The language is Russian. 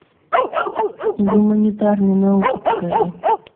гуманитарные науки покажи